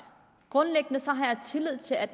at